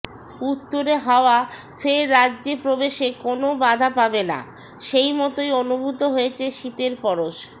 উত্তুরে হাওয়া ফের রাজ্যে প্রবেশে কোনও বাধা পাবে না সেই মতোই অনুভূত হয়েছে শীতের পরশ